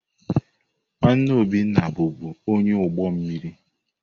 Nwanne Obinna bụbu onye ụgbọ mmiri.